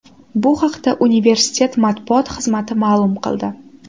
Bu haqda universitet matbuot xizmati ma’lum qildi .